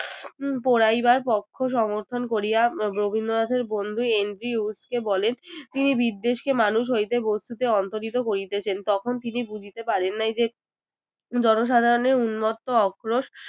পোড়াইবার পক্ষ সমর্থন করিয়া রবীন্দ্রনাথ এর বন্ধু এন্ড্রিউলফ কে বলেন তিনি বিদ্বেষ কে মানুষ হইতে বস্তুতে অন্তর্হিত করিতেছেন তখন তিনি বুঝিতে পারেন নাই যে জনসাধারণের উন্মত্ত অক্রোশ